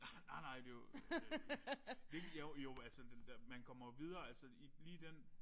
Nej nej det jo øh hvilken jo jo altså det man kommer jo videre altså i lige den